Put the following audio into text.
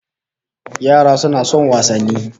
Yara suna son wasanni